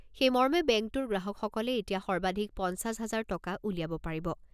সেই মৰ্মে বেংকটোৰ গ্ৰাহকসকলে এতিয়া সৰ্বাধিক পঞ্চাছ হাজাৰ টকা উলিয়াব পাৰিব।